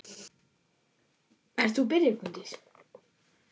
Kveðja, þín systir, Hugrún.